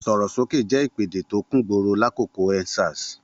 Sọ̀rọ̀ sókè jẹ́ ìpèdè tó kúngboro lákòókò End Sars.